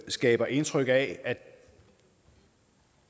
skaber indtryk af at